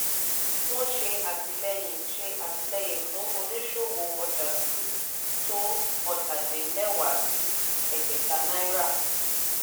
wọ́n ṣe àtìlẹ́yìn ṣe àtìlẹ́yìn fún oníṣòwò ọjà dúdú tó ọ́ta-din-lẹwá sí ẹgbẹ́ta náírà.